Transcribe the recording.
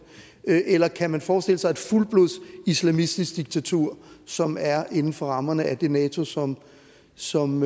det eller kan man forestille sig et fuldblods islamistisk diktatur som er inden for rammerne af det nato som som